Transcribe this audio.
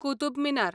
Qutub Minar